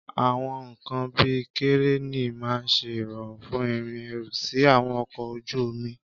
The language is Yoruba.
Àwọn nkan bíi kẹ̀rẹ́nì máa ń ṣe ìrọ̀rùn fún ìrìn ẹrù sí àwọn ọkọ̀ ojú omi.